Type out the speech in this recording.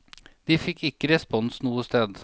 De fikk ikke respons noe sted.